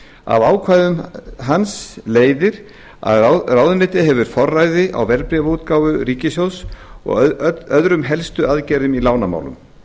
af ákvæðum hans leiðir að ráðuneytið hefur forræði á verðbréfaútgáfu ríkissjóðs og öðrum helstu aðgerðum í lánamálum